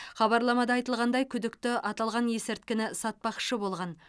хабарламада айтылғандай күдікті аталған есірткіні сатпақшы болған